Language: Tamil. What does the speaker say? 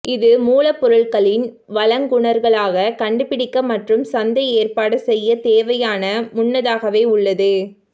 இது மூல பொருட்களின் வழங்குனர்களாக கண்டுபிடிக்க மற்றும் சந்தை ஏற்பாடு செய்யத் தேவையான முன்னதாகவே உள்ளது